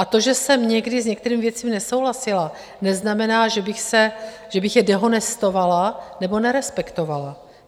A to, že jsem někdy s některými věcmi nesouhlasila, neznamená, že bych je dehonestovala nebo nerespektovala.